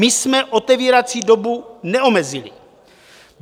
My jsme otevírací dobu neomezili.